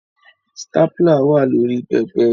Stapler wà lórí pẹpẹ